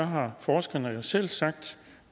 har forskerne jo selv sagt